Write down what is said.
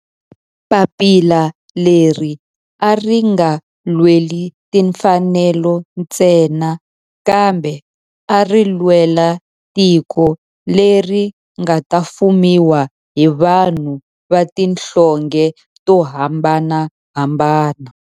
Papila leri a ri nga lweli timfanelo ntsena kambe ari lwela tiko leri nga ta fumiwa hi vanhu va tihlonge to hambanahambana.